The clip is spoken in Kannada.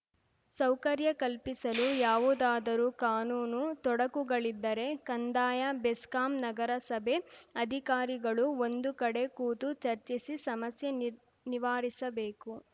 ಸೌಕರ್ಯ ಕಲ್ಪಿಸಲು ಯಾವುದಾದರೂ ಕಾನೂನು ತೊಡಕುಗಳಿದ್ದರೆ ಕಂದಾಯ ಬೆಸ್ಕಾಂ ನಗರಸಭೆ ಅಧಿಕಾರಿಗಳು ಒಂದು ಕಡೆ ಕೂತು ಚರ್ಚಿಸಿ ಸಮಸ್ಯೆ ನಿ ನಿವಾರಿಸಬೇಕು